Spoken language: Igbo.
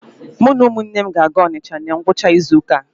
Mụ na ụmụnne m ga-aga Ọnịcha na ngwụcha izu ụka a.